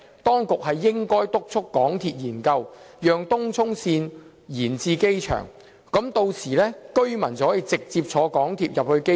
當局也可督促港鐵進行研究，把東涌線伸延至機場，讓居民乘搭港鐵直達機場。